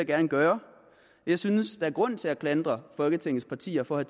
gerne gøre jeg synes der er grund til at klandre folketingets partier for at